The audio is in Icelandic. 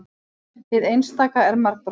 Hið einstaka er margbrotnara.